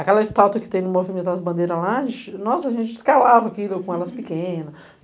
Aquela estatua que tem no movimento das bandeiras lá, ixi nossa, a gente escalava aquilo com elas pequena.